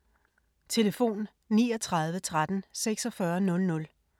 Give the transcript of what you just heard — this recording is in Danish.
Telefon: 39 13 46 00